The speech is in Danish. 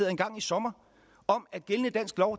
engang i sommer om at gældende dansk lov